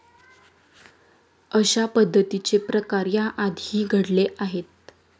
अशा पद्धतीचे प्रकार या आधीही घडले आहेत.